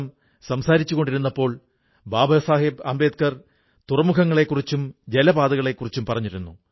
ഇതറിഞ്ഞ ശേഷം മംജൂർ ഭായി തന്റെ അധ്വാനശീലം വ്യക്തമാക്കിക്കൊണ്ട് പ്രസിദ്ധങ്ങളായ പെൻസിൽ നിർമ്മാണ യൂണിറ്റുകൾക്ക് പോപ്ലർ തടി ലഭ്യമാക്കാൻ തുടങ്ങി